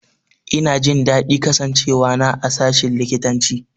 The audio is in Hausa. Ina jin daɗin kasancewa na a sashin likitanci.